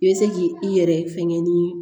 I bɛ se k'i i yɛrɛ fɛngɛ ni